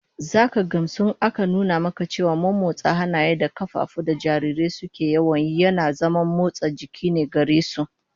Zaka gamsu in aka nuna maka cewa mommotsa hannaye da kafafu da jarirai suke yawan yi yana zaman motsa jiki ne gare su